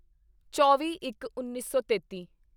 ਚੌਵੀਇੱਕਉੱਨੀ ਸੌ ਤੇਤੀ